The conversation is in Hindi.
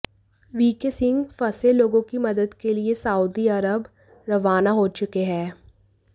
वीके सिंह फंसे लोगों की मदद के लिए सऊदी अरब रवाना हो चुके हैं